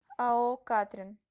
ао катрен